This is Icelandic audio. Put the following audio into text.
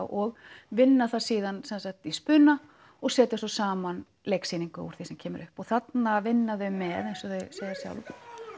og vinna það síðan í spuna og setja saman leiksýningu úr því sem kemur upp þarna vinna þau með eins og þau segja sjálf